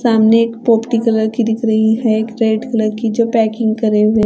सामने एक पोती कलर की दिख रही है एक रेड कलर की जो पैकिंग करे हुए--